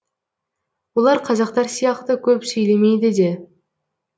олар қазақтар сияқты көп сөйлемейді де